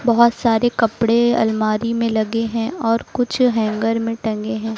बहुत सारे कपड़े अलमारी में लगे हैं और कुछ हैंगर में टंगे हैं।